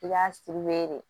I k'a de